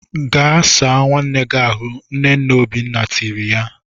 Gaa saa nwanne gị ahụ! Nne nne Obiọma tiri ya.